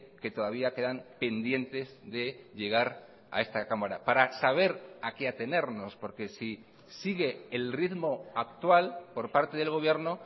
que todavía quedan pendientes de llegar a esta cámara para saber a qué atenernos porque si sigue el ritmo actual por parte del gobierno